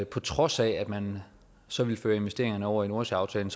på trods af at man så vil føre investeringerne over i nordsøaftalen